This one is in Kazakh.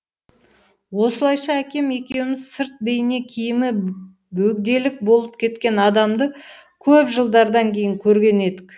осылайша әкем екеуіміз сырт бейне киімі бөгделік болып кеткен адамды көп жылдардан кейін көрген едік